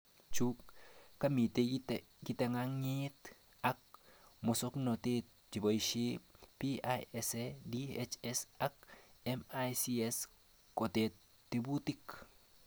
Chu kamite kitangangit ak musoknotet cheboishe PISA, DHS ak MICS kotab tebutik